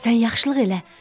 Sən yaxşılıq elə.